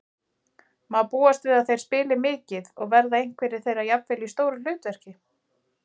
Má búast við að þeir spili mikið og verða einhverjir þeirra jafnvel í stóru hlutverki?